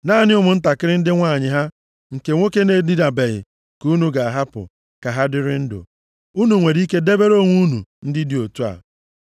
Naanị ụmụntakịrị ndị nwanyị ha nke nwoke na-edinabeghị ka unu ga-ahapụ ka ha dịrị ndụ. Unu nwere ike debere onwe unu ndị dị otu a.